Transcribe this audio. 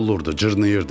Dəli olurdu, cırnayırdi.